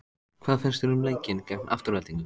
Hvað fannst þér um leikinn gegn Aftureldingu?